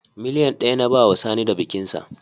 Miliyan ɗaya na bawa Sani da bikinsa